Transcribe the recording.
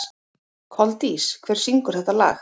Koldís, hver syngur þetta lag?